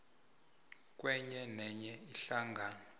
kwenye nenye ihlangano